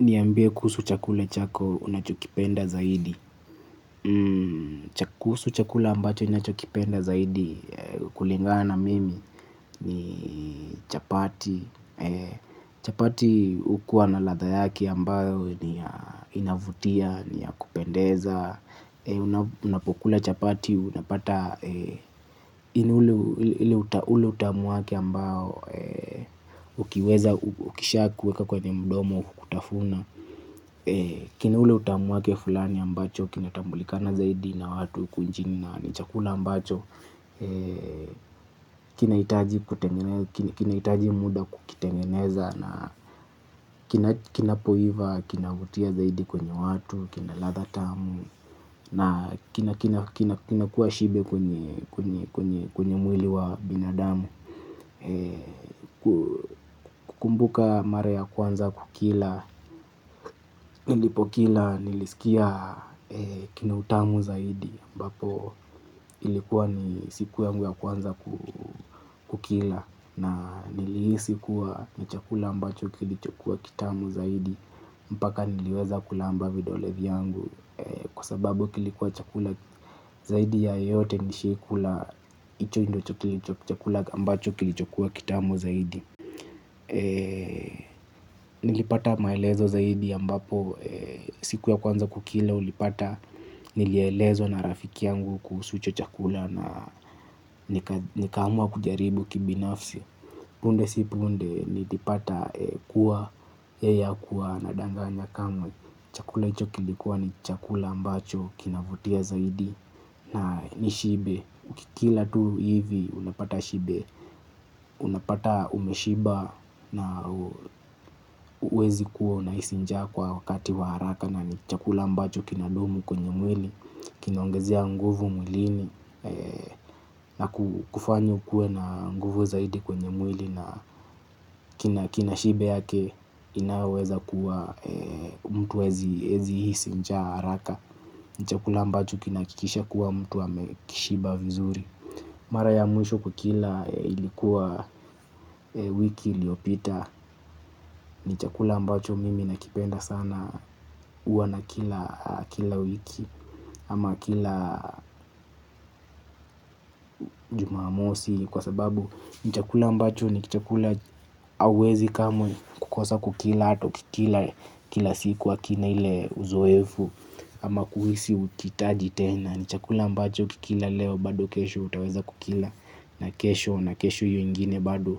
Niambie kusuhu chakula chako unachokipenda zaidi. Kuhusu chakula ambacho nachokipenda zaidi kulingana mimi ni chapati. Chapati hukuwa na ladha yake ambayo inavutia, niya kupendeza. Unapokula chapati unapata inauleutamuwake ambao ukiweza ukishaa kuweka kwenye mdomo kutafuna. Kina ule utamu wake fulani ambacho kina tambulikana zaidi na watu hukunchni na nichakula ambacho kina hitaji muda kukitengeneza. Kina poiva, kinavutia zaidi kwenye watu. Kina ladha tamu. Kina kuwa shibe kwenye mwili wa binadamu. Kumbuka mara ya kwanza kukila. Nilipo kila nilisikia kinautamu zaidi ambapo ilikuwa ni siku yanguya kwanza kukila. Na nilihisi kuwa ni chakula ambacho kilichokua kitamu zaidi mpaka niliweza kula amba vidolevyangu. Kwa sababu kilikuwa chakula zaidi ya yote nishaikula hicho ndo chakula ambacho kilichokua kitamu zaidi. Nilipata maelezo zaidi ambapo siku ya kwanza kukila ulipata. Nilielezwa na rafiki yangu kuhusuhicho chakula. Na nikamua kujaribu kibinafsi. Punde si punde nilipata kuwa yeyeha kuwa ana danganya kama chakula hicho kilikuwa ni chakula ambacho kinavutia zaidi na ni shibe. Ukikila tu hivi unapata shibe. Unapata umeshiba na huwezi kuwa una hisinjaa kwa wakati wa haraka. Na ni chakula ambacho kina dumu kwenye mwili. Kinaongezea nguvu mwilini. Na kufanya ukue na nguvu zaidi kwenye mwili. Na kinashibe yake inayoweza kuwa mtu hawezi hisinjaa haraka. Ni chakula ambacho kinaha kikisha kuwa mtu a mekishiba vizuri. Mara ya mwisho kukila ilikuwa wiki iliyopita. Ni chakula ambacho mimi nakipenda sana huwa na kila wiki ama kila jumamosi kwa sababu ni chakula ambacho ni chakula huwezi kamwe kukosa kukila. Hatau kikila kila siku hakina ile uzoefu. Ama kuhisi ukihitaji tena. Ni chakula ambacho ukikila leo bado kesho utaweza kukila. Na kesho na kesho hiyo ingine bado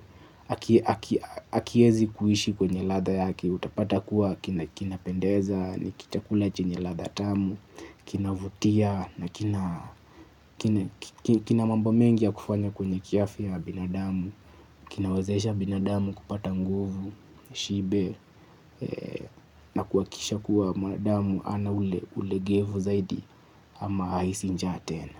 haki wezi kuishi kwenye ladha yake. Utapata kuwa kinapendeza, nikichakula chenyeladha tamu, kinavutia na kinamambo mengi ya kufanya kwenye kiafya ya binadamu. Kinawazesha binadamu kupata nguvu, shibe na kuhakikisha kuwa mwanadamu hana ulegevu zaidi ama hahisi njaa tena.